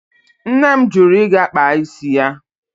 Nne m jụrụ ịga kpaa isi ya.